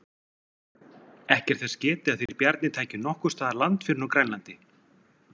Ekki er þess getið að þeir Bjarni tækju nokkurs staðar land fyrr en á Grænlandi.